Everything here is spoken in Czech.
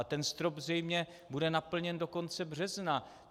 A ten strop zřejmě bude naplněn do konce března.